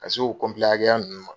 Ka se o hakɛya nunnu ma.